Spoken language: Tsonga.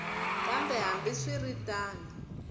kambe hambi swi ri tano